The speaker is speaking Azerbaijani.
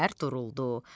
keflər duruldu.